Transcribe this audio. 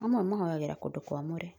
amwe mahoyagĩra kũndũ kwamũre